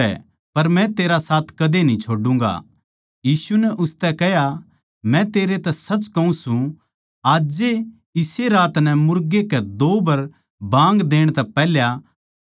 यीशु नै उसतै कह्या मै तेरै तै सच कहूँ सूं आज ए इस्से रात नै मुर्गे के दो बर बाँग देण तै पैहल्या तू तीन बर मेरै बारे म्ह मुकरैगा